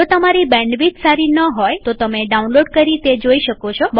જો તમારી બેન્ડવિડ્થ સારી ન હોય તો તમે ડાઉનલોડ કરી તે જોઈ શકો છો